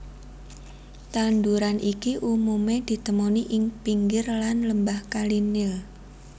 Tanduran iki umumé ditemoni ing pinggir lan lembah Kali Nil